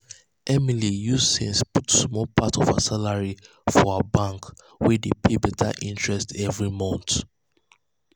emily use sense put um small part of her salary for her bank wey dey pay better interest every month.